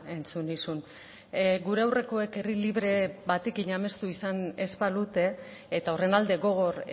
entzun nizun gure aurrekoek herri libre batekin amestu izan ez balute eta horren alde gogor